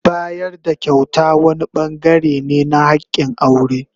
Bayar da kyauta wani bangare ne na hakin aure.